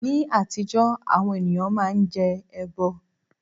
Ní àtijọ́, àwọn ènìyàn máa ń jẹ ẹbọ